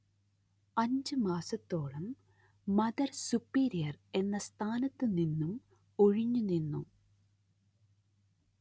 അഞ്ച് മാസത്തോളം mother superior എന്ന സ്ഥാനത്തു നിന്നും ഒഴിഞ്ഞു നിന്നു